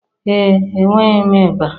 Ee, enweghị m ịba